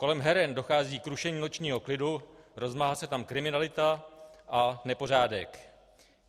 Kolem heren dochází k rušení nočního klidu, rozmáhá se tam kriminalita a nepořádek.